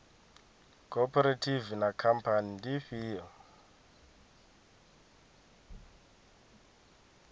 khophorethivi na khamphani ndi ifhio